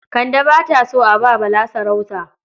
Kande ba ta so a ba Bala sarauta ba.